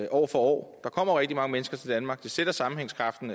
år for år der kommer rigtig mange mennesker til danmark det sætter sammenhængskraften